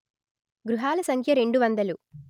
గృహాల సంఖ్య రెండు వందలు